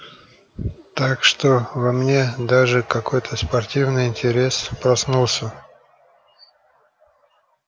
так что во мне даже какой-то спортивный интерес проснулся